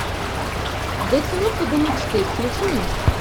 дотянуться до мечты включи мне